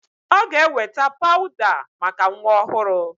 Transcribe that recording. Ọ ga-eweta pawụda maka nwa ọhụrụ.